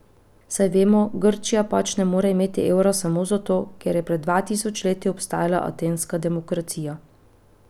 Saj vemo, Grčija pač ne more imeti evra samo zato, kjer je pred dva tisoč leti obstajala atenska demokracija.